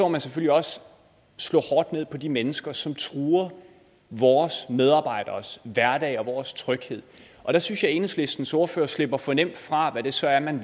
man selvfølgelig også slå hårdt ned på de mennesker som truer vores medarbejderes hverdag og vores tryghed der synes jeg enhedslistens ordfører slipper for nemt fra hvad det så er man